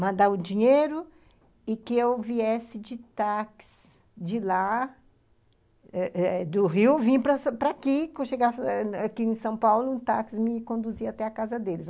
mandar o dinheiro e que eu viesse de táxi de lá eh eh do Rio, vim para aqui, para chegar aqui em São Paulo, um táxi me conduzia até a casa deles.